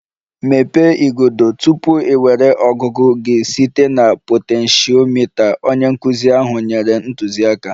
Mepee igodo! Tupu ị nwere ọgụgụ gị site na potentiomita, onye nkụzi ahụ nyere ntụziaka